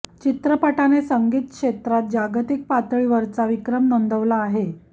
चित्रपटाने संगीत क्षेत्रात जागतिक पातळीवरचा विक्रम नोंदवला आहे